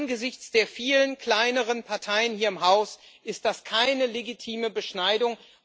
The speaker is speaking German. Angesichts der vielen kleineren Parteien hier im Haus ist das keine legitime Beschneidung.